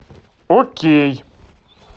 окей